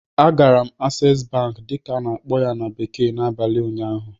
Agara m "Access Bank" dịka a na-akpọ ya na bekee n'abalị ụnyaahụ